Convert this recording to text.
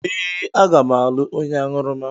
Ee, aga m alụ onye aṅụrụma.